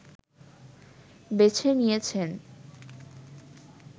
বেছে নিয়েছেন